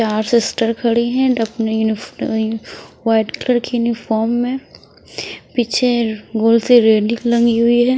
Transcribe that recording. यहां सिस्टर खड़ी हैं व्हाइट कलर की यूनिफॉर्म में पीछे गोल से रेडिकुलम है।